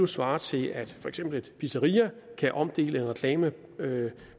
svarer til at for eksempel et pizzeria kan omdele en reklame